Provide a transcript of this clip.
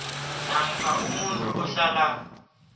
namkha umuntu ohlala